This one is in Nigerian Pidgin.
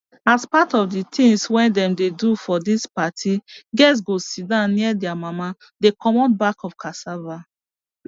as part of the things wey dem dey do for this party girls go sit down near their mama dey comot back of cassava